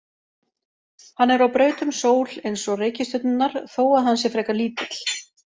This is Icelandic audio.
Hann er á braut um sól eins og reikistjörnurnar þó að hann sé frekar lítill.